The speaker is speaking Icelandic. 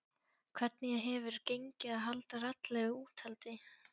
Hvernig hefur gengið að halda raddlegu úthaldi?